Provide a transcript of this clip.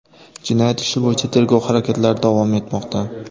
Jinoyat ishi bo‘yicha tergov harakatlari davom etmoqda”.